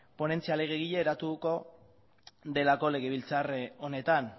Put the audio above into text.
ponentzia legegile eratuko delako legebiltzar honetan